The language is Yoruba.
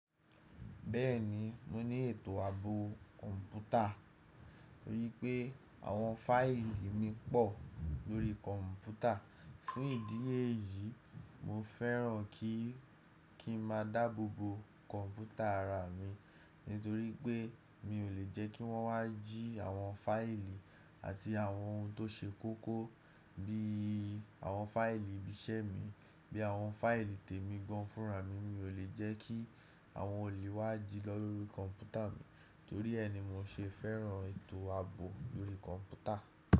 Bẹ́ẹ̀ni mo ní ètò ààbò kọ̀ǹpútà, torí pé àwọn fáìlì mi pọ̀ lórí kọ̀ǹpútà. Fún ìdí èyí, mo fẹ́ràn kí i kí n má a dáàbò bo kọ̀ǹpútà ará mi nítorí pé mi ò lè jẹ́ kí wọ́n wá jí àwọn fáìlì àti àwọn ohun tó ṣe kókó bí i àwọn fáìlì ìbí iṣẹ́ mi, bí i àwọn fáìlì tèmi gánfùrá mi. Mi ò lè jẹ́ kí àwọn òlè wá jí lọ́rí kọ̀ǹpútà mi, torí ẹ ni mo ṣe fẹ́ràn ètò ààbò lórí kọ̀ǹpútà.